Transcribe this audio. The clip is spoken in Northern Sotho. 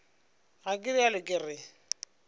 ga ke realo ke re